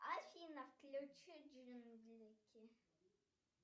афина включи джинглики